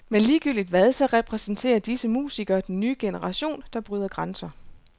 Men ligegyldigt hvad, så repræsenterer disse musikere den nye generation, der bryder grænser.